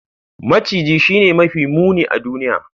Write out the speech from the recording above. Maciji Shine mafi muni a duniya.